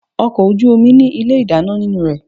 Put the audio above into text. Ọkọ̀ ojú omi ní ilé ìdáná nínú rẹ̀.